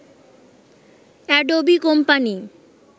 Adobe company